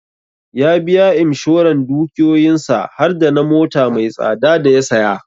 Ya biya Imshoran dukiyoyin sa har dana mota mai tsada da ya saya